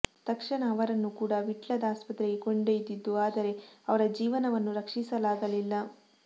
ತಕ್ಷಣ ಅವರನ್ನು ಕೂಡಾ ವಿಟ್ಲದ ಆಸ್ಪತ್ರೆಗೆ ಕೊಂಡೊಯ್ದಿದ್ದು ಆದರೆ ಅವರ ಜೀವವನ್ನು ರಕ್ಷಿಸಲಾಗಲಿಲ್ಲ